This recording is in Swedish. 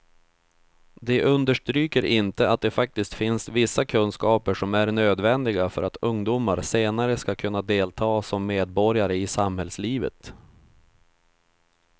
De understryker inte att det faktiskt finns vissa kunskaper som är nödvändiga för att ungdomar senare ska kunna delta som medborgare i samhällslivet.